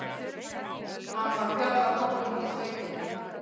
Hann var fjallkóngurinn í sveitinni.